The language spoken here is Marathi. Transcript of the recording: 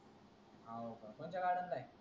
कोणत्या गार्डन ला हे